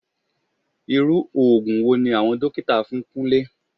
Irú òògùn wo ni àwọn dókítà fún Kúnlé?